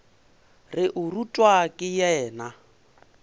re o rutwa ke yena